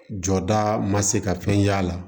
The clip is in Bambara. Jɔda ma se ka fɛn ye a la